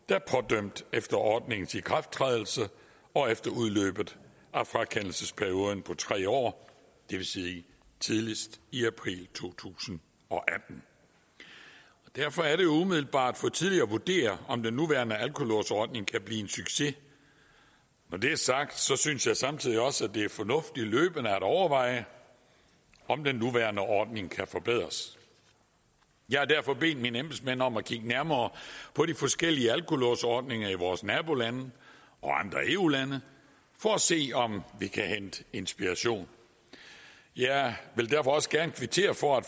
der er pådømt efter ordningens ikrafttrædelse og efter udløbet af frakendelsesperioden på tre år det vil sige tidligst i april to tusind og atten derfor er det umiddelbart for tidligt at vurdere om den nuværende alkolåsordning kan blive en succes når det er sagt synes synes jeg samtidig også det er fornuftigt løbende at overveje om den nuværende ordning kan forbedres jeg har derfor bedt mine embedsmænd om at kigge nærmere på de forskellige alkolåsordninger i vores nabolande og andre eu lande for at se om vi kan hente inspiration jeg vil derfor også gerne kvittere for at